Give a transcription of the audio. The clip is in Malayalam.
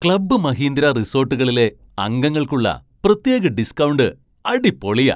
ക്ലബ് മഹീന്ദ്ര റിസോട്ടുകളിലെ അംഗങ്ങൾക്കുള്ള പ്രത്യേക ഡിസ്കൗണ്ട് അടിപൊളിയാ.